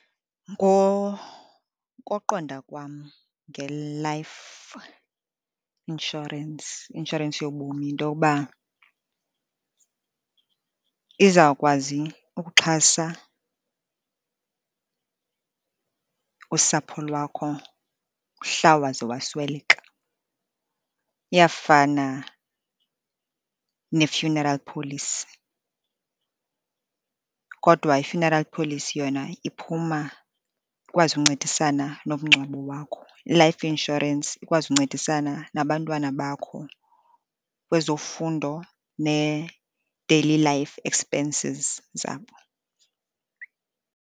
Ngokoqonda kwam nge-life insurance, i-inshorensi yobomi yinto yokuba izawukwazi ukuxhasa usapho lwakho mhla waze wasweleka. Iyafana ne-funeral policy kodwa i-funeral policy, yona iphuma ikwazi ukuncedisana nomngcwabo wakho. I-life insurance ikwazi ukuncedisana nabantwana bakho kwezofundo ne-daily life expenses zabo.